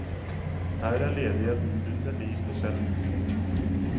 Her er ledigheten under ni prosent.